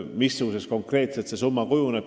Missuguseks konkreetselt see summa kujuneb?